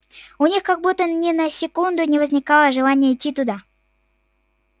у них как будто ни на секунду не возникало желания идти туда